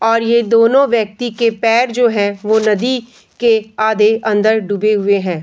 और ये दोनों व्यक्ति के पैर जो हैं वो नदी के आधे अंदर डुबे हुए हैं।